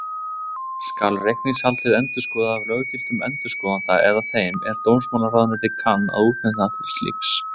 Skal reikningshaldið endurskoðað af löggiltum endurskoðanda eða þeim, er dómsmálaráðuneytið kann að útnefna til slíks.